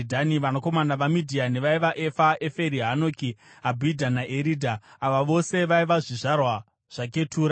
Vanakomana vaMidhiani vaiva: Efa, Eferi, Hanoki, Abhidha naEridha. Ava vose vaiva zvizvarwa zvaKetura.